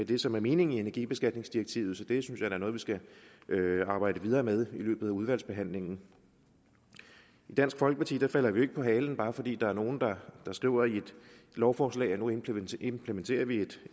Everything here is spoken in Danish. det som er meningen i energibeskatningsdirektivet så det synes jeg da er noget vi skal arbejde videre med i løbet af udvalgsbehandlingen i dansk folkeparti falder vi jo ikke på halen bare fordi der er nogle der skriver i et lovforslag at nu implementerer implementerer vi et